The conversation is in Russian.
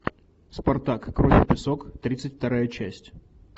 спартак кровь и песок тридцать вторая часть